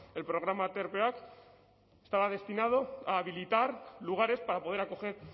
el programa aterpeak estaba destinado a habilitar lugares para poder acoger